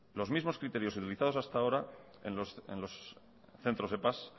los mismos criterios utilizados hasta ahora en los centros epa